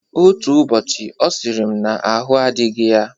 Otu ụbọchị ọ sịrị m n'ahụ adịghị ya.